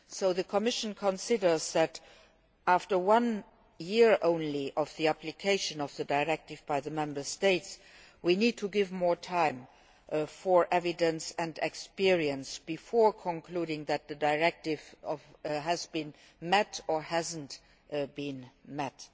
The Commission considers that, after one year only of application of the directive by the Member States, we need to give more time for evidence and experience before concluding whether the directive has been met or not.